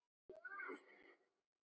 Til að líma okkur.